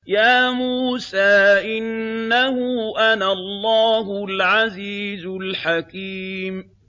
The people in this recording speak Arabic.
يَا مُوسَىٰ إِنَّهُ أَنَا اللَّهُ الْعَزِيزُ الْحَكِيمُ